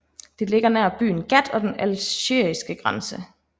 Det ligger nær byen Ghat og den algeriske grænse